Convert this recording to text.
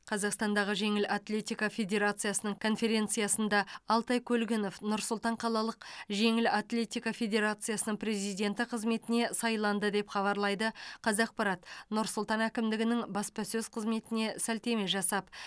қазақстандағы жеңіл атлетика федерациясының конференциясында алтай көлгінов нұр сұлтан қалалық жеңіл атлетика федерациясының президенті қызметіне сайланды деп хабарлайды қазақпарат нұр сұлтан әкімдігінің баспасөз қызметіне сілтеме жасап